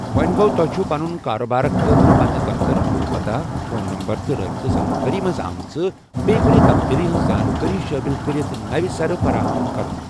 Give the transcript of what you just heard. وونہِ گو٘و ، تۄہہِ چُھو ، پنٗن کارٕبٲرِ خٲطرٕ پنٛنہِ دفتَرُک نوٚو پتاہ ، فون نَمبر، تہٕ رٲبِطہٕ زانكٲری منز آمژِ بیٚیہِ کُنہِ تبدیٖلی ہِنٛز زانٛکٲری شٲمِل کَرٕتھ نوِ سرٕ فراہم كرُن ۔